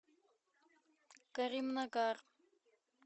каримнагар